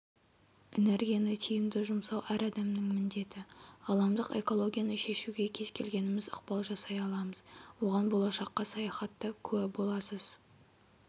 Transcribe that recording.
энергияны тиімді жұмсау әр адамның міндеті ғаламдық экологияны шешуге кез келгеніміз ықпал жасай аламыз оған болашаққа саяхатта куә боласыз